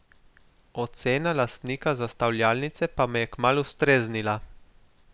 Ocena lastnika zastavljalnice pa me je kmalu streznila.